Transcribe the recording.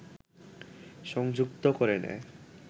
সংযুক্ত করে নেয়